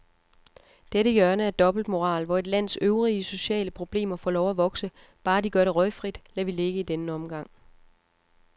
Dette hjørne af dobbeltmoral, hvor et lands øvrige sociale problemer får lov at vokse, bare de gør det røgfrit, lader vi ligge i denne omgang.